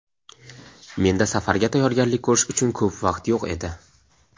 Menda safarga tayyorgarlik ko‘rish uchun ko‘p vaqt yo‘q edi.